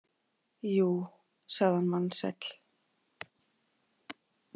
Jú, sagði hann vansæll.